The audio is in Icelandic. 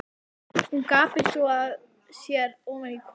Hún gapir svo að sér ofan í kok á henni.